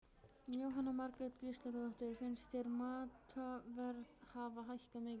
Jóhanna Margrét Gísladóttir: Finnst þér matarverð hafa hækkað mikið?